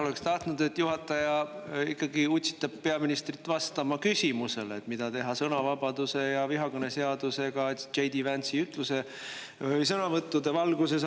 Oleks tahtnud, et juhataja ikkagi oleks utsitanud peaministrit vastama küsimusele, mida teha sõnavabadusega ja vihakõneseadusega J. D. Vance'i sõnavõttude valguses.